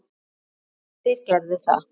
Já, þeir gerðu það.